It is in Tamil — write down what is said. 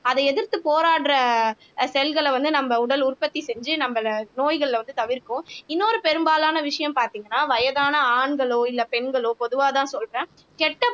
அதை எதிர்த்து போராடுற அஹ் செல்களை வந்து நம்ம உடல் உற்பத்தி செஞ்சு நம்மளை நோய்கள்ல வந்து தவிர்க்கும் இன்னொரு பெரும்பாலான விஷயம் பார்த்தீங்கன்னா வயதான ஆண்களோ இல்லை பெண்களோ பொதுவாகதான் சொல்றேன் கெட்ட